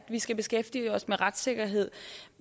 vi skal beskæftige os med retssikkerhed